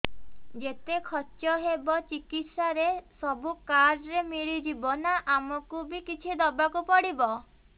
ଯେତେ ଖର୍ଚ ହେବ ଚିକିତ୍ସା ରେ ସବୁ କାର୍ଡ ରେ ମିଳିଯିବ ନା ଆମକୁ ବି କିଛି ଦବାକୁ ପଡିବ